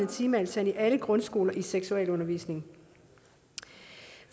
timetal i alle grundskoler i seksualundervisning